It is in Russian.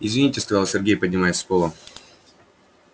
извините сказал сергей поднимаясь с пола